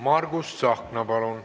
Margus Tsahkna, palun!